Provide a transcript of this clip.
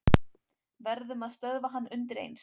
Verðum að stöðva hann undireins.